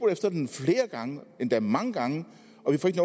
efter den flere gange endda mange gange